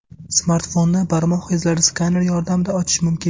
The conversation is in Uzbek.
Smartfonni barmoq izlari skaneri yordamida ochish mumkin.